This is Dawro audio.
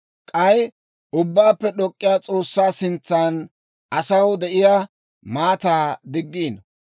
k'ay Ubbaappe D'ok'k'iyaa S'oossaa sintsan asaw de'iyaa maataa diggiino;